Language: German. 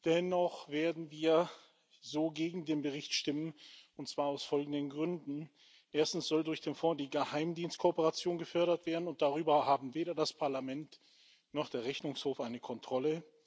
Dennoch werden wir so gegen den Bericht stimmen, und zwar aus folgenden Gründen Erstens soll durch den Fonds die Geheimdienstkooperation gefördert werden, und darüber haben weder das Parlament noch der Rechnungshof eine Kontrolle.